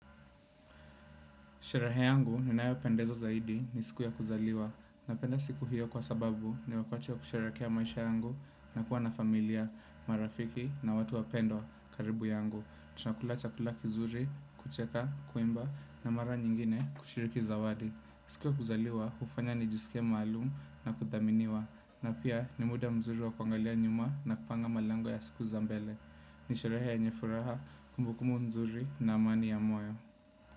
Sherehe yangu ninayopendezwa zaidi ni siku ya kuzaliwa. Napenda siku hiyo kwa sababu ni wakati wa kusherekea maisha yangu na kuwa na familia, marafiki na watu wapendwa, karibu yangu. Tunakula chakula kizuri, kucheka, kuimba na mara nyingine kushiriki zawadi. Siku ya kuzaliwa hufanya nijisikie maalum na kuthaminiwa. Na pia ni muda mzuri wa kuangalia nyuma na kupanga malengo ya siku za mbele. Ni sherehe yenye furaha, kumbukumbu mzuri na amani ya moyo.